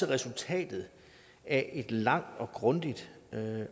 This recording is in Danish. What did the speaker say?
resultatet af et langt og grundigt